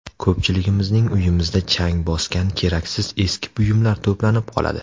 Ko‘pchiligimizning uyimizda chang bosgan keraksiz eski buyumlar to‘planib qoladi.